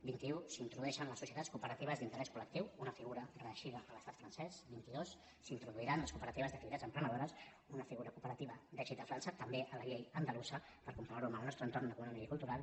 vint i un s’introdueixen les societats cooperatives d’interès colvint i dos s’introduiran les cooperatives d’activitats emprenedores una figura cooperativa d’èxit a frança també a la llei andalusa per comparar ho amb el nostre entorn econòmic i cultural